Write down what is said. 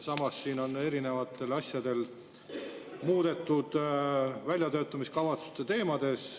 Samas on siin erinevaid asju muudetud väljatöötamiskavatsuse teemades.